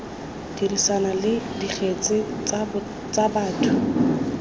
dirisana le dikgetse tsa batho